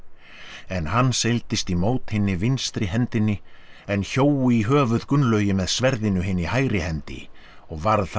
en hann seildist í mót hinni vinstri hendinni en hjó í höfuð Gunnlaugi með sverðinu hinni hægri hendi og varð það